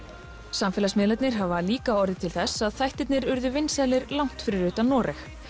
samfélagsmiðlarnir hafa líka orðið til þess að þættirnir urðu vinsælir langt fyrir utan Noreg